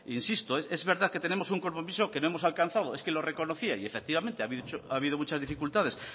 insisto es verdad que tenemos un compromiso que no hemos alcanzado y lo reconocía y efectivamente ha habido muchas dificultades